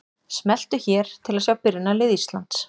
Smelltu hér til að sjá byrjunarlið Íslands.